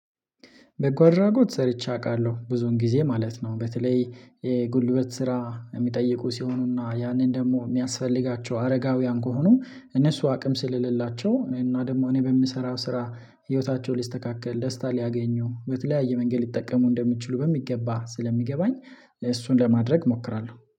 በጎ አድራጎት ሰርቼ አውቃለሁ ብዙ ጊዜ ማለት ነው። በተለይ የጉልበት ስራ የሚጠይቁ ሲሆኑና ያንን ደግሞ የሚያስፈልጋቸው አረጋውያን ከሆኑ እነሱ አቅም ስለሌላቸው እና ደግሞ እኔ በምሰራው ስራ ህይወታቸው ሊስተካከል ደስታ ሊያገኙ በተለያየ መንገድ ሊጠቀሙ እንደሚችሉ በሚገባ ስለሚገባኝ። እሱን ለማድረግ እሞክራለሁ